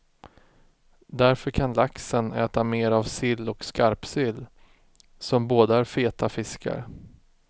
Därför kan laxen äta mer av sill och skarpsill, som båda är feta fiskar.